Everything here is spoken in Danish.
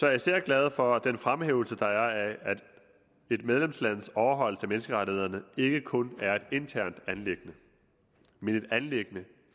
jeg især glad for den fremhævelse der er af at et medlemslands overholdelse af menneskerettighederne ikke kun er et internt anliggende men et anliggende